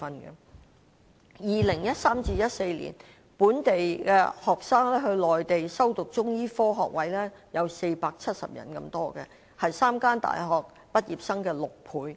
在 2013-2014 年度，本地學生到內地修讀中醫科學位有470人之多，是3間大學畢業生的6倍。